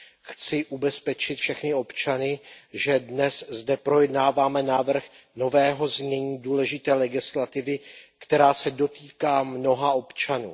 Chci ubezpečit všechny občany, že dnes zde projednáváme návrh nového znění důležité legislativy, která se dotýká mnoha občanů.